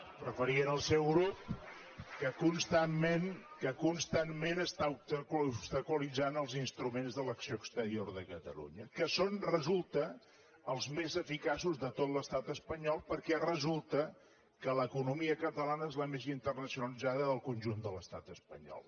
em referia al seu grup que constantment està obstaculitzant els instruments de l’acció exterior de catalunya que són resulta els més eficaços de tot l’estat espanyol perquè resulta que l’economia catalana és la més internacionalitzada del conjunt de l’estat espanyol